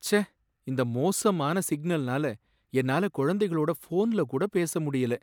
ச்சே! இந்த மோசமான சிக்னல்னால என்னால குழந்தைகளோட ஃபோன்ல கூட பேச முடியல.